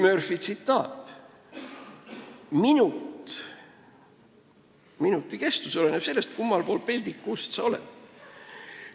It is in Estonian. Tuletan meelde kuulsa Murphy tsitaadi: "Minuti kestus oleneb sellest, kummal pool peldiku ust sa oled.